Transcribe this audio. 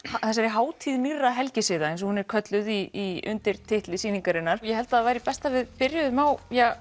þessari hátíð nýrra helgisiða eins og hún er kölluð í undirtitli sýningarinnar ég held að það væri best að við byrjuðum á